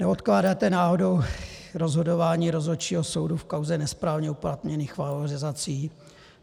Neodkládáte náhodou rozhodování rozhodčího soudu v kauze nesprávně uplatněných valorizací?